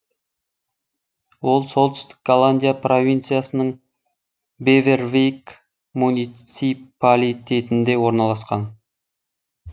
ол солтүстік голландия провинциясының бевервейк муниципалитетінде орналасқан